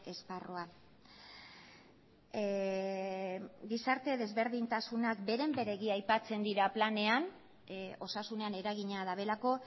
esparrua gizarte desberdintasunak beren beregi aipatzen dira planean osasunean eragina dutelako